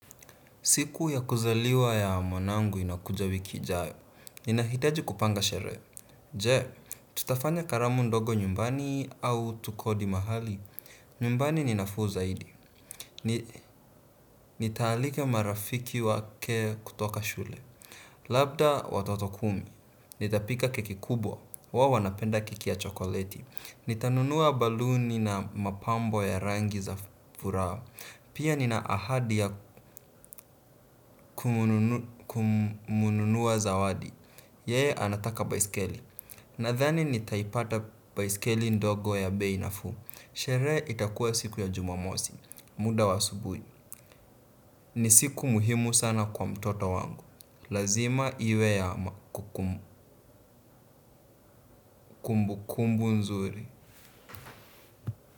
Siku ya kuzaliwa ya mwanangu inakuja wiki ijayo, ninahitaji kupanga sherehe, je, tutafanya karamu ndogo nyumbani au tukodi mahali, nyumbani ninafuu zaidi. Nitaalika marafiki wake kutoka shule, labda watoto kumi, nitapika keki kubwa, wawo wanapenda kiki ya chokoleti. Nitanunua baluni na mapambo ya rangi za furaha pia nina ahadi ya kumununua za wadi. Yeye anataka baisikeli. Nadhani nitaipata baisikeli ndogo ya bei nafuu. Sherehe itakua siku ya jumamosi. Muda wa asubuhi. Ni siku muhimu sana kwa mtoto wangu. Lazima iwe ya kukumbu kumbu nzuri.